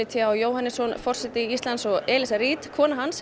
t h Jóhannessonar forseta Íslands og Elizu Reid konu hans